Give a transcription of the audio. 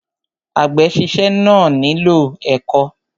Àgbè síse náà nílò ẹ̀kọ́.